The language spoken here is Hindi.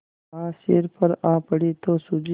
आज सिर पर आ पड़ी तो सूझी